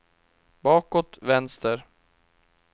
bakåt vänster